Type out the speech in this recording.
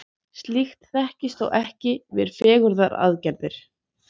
slíkt þekkist þó ekki við fegrunaraðgerðir